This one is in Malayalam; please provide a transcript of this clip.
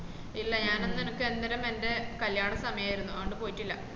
ഇല്ല ഞാന അന്ന് എനക്ക് എന്നേരം എന്റെ കല്യാണ സമയയർന്ന് അത്‌കൊണ്ട് പോയിട്ടില്ല